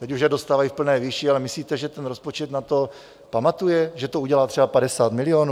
Teď už je dostávají v plné výši, ale myslíte, že ten rozpočet na to pamatuje, že to udělá třeba 50 milionů?